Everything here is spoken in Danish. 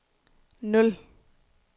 nul